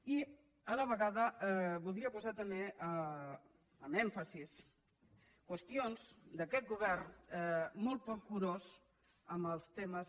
i a la vegada voldria posar també èmfasi en qüestions d’aquest govern molt poc curós amb els temes